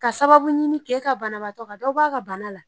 Ka sababu ɲini k'e ka banabagatɔ ka dɔ bɔ a ka bana la